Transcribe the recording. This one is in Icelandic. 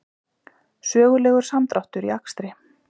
Sögulegur samdráttur í akstri